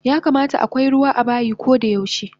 Yakamata akwai ruwa abayi kodayaushe